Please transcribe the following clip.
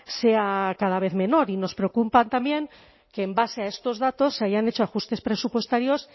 sea cada vez menor y nos preocupa también que en base a estos datos se hayan hecho ajustes presupuestarios